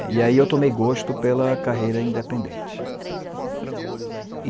É, e aí eu tomei gosto pela carreira independente. Ah tá.